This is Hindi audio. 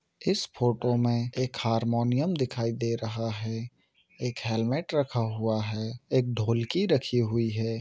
इस फ़ोटो में एक हारमोनियम दिखाई दे रहा है एक हेलमेट रखा हुआ है एक ढोलकी रखी हुई ।